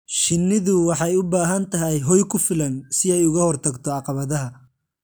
Shinnidu waxay u baahan tahay hoy ku filan si ay uga hortagto caqabadaha.